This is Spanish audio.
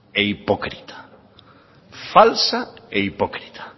e hipócrita falsa e hipócrita